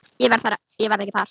Ég verð ekki þar.